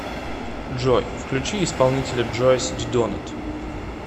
джой включи исполнителя джойс дидонато